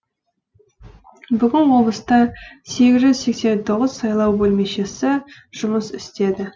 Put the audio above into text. бүгін облыста сегіз жүз сексен тоғыз сайлау бөлмешесі жұмыс істеді